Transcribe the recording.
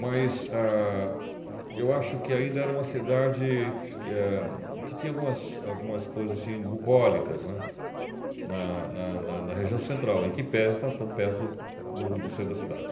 Mas ah eu acho que ainda era uma cidade eh que tinha algumas algumas coisas burrólicas, né, na na na região central e que em tese está tão perto do do centro da cidade.